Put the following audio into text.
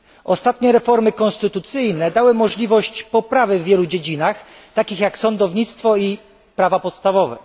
Ostatnie reformy konstytucyjne dały możliwość poprawy w wielu dziedzinach, takich jak sądownictwo i prawa podstawowe.